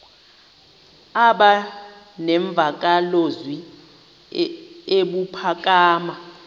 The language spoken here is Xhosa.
aba nemvakalozwi ebuphakama